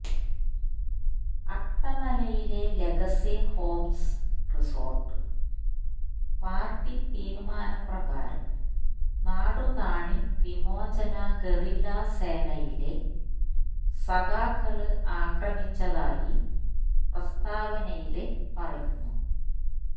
അട്ടമലയിലെ legacy homes resort party തീരുമാനപ്രകാരം നാടുകാണി വിമോചന guerrilla സേനയിലെ സഖാക്കള് ആക്രമിച്ചതായി പ്രസ്താവനയില് പറയുന്നു